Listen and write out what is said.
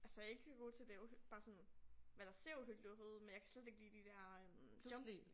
Altså jeg ikke så god til det bare sådan hvad der ser uhyggeligt ud men jeg kan slet ikke lide de der øh jump